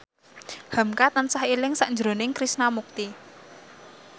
hamka tansah eling sakjroning Krishna Mukti